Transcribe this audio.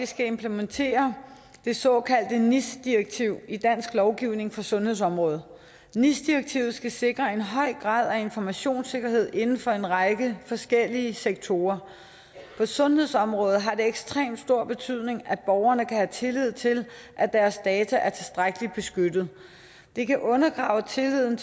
skal implementere de såkaldte nis direktiv i dansk lovgivning på sundhedsområdet nis direktivet skal sikre en høj grad af informationssikkerhed inden for en række forskellige sektorer på sundhedsområdet har det ekstremt stor betydning at borgerne kan have tillid til at deres data er tilstrækkeligt beskyttet det kan undergrave tilliden